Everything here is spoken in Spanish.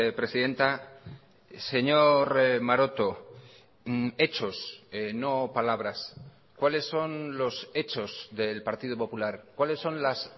presidenta señor maroto hechos no palabras cuáles son los hechos del partido popular cuáles son las